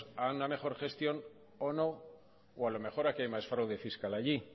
a una mejor gestión o no o a lo mejor aquí hay más fraude fiscal que allí